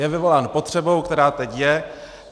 Je vyvolán potřebou, která teď je.